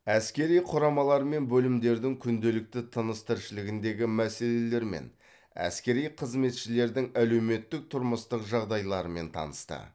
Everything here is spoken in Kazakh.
әскери құрамалар мен бөлімдердің күнделікті тыныс тіршілігіндегі мәселелермен әскери қызметшілердің әлеуметтік тұрмыстық жағдайларымен танысты